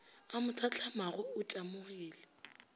a mo hlatlamago o tamogile